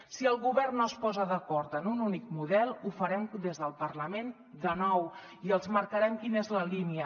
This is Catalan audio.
si el govern no es posa d’acord en un únic model ho farem des del parlament de nou i els marcarem quina és la línia